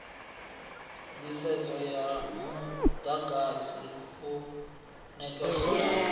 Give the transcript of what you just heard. nḓisedzo ya muḓagasi u ṋekedzwaho